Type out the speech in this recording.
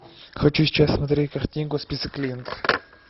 хочу сейчас смотреть картинку список клиентов